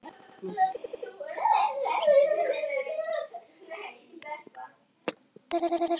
Námsgagnastofnun- Hafrannsóknastofnun.